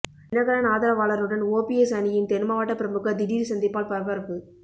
தினகரன் ஆதரவாளருடன் ஓபிஎஸ் அணியின் தென்மாவட்ட பிரமுகர் திடீர் சந்திப்பால் பரபரப்பு